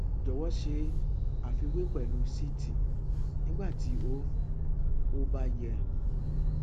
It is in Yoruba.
jọwọ ṣe àfiwé pẹlú ct nígbà tí ó ó bá yẹ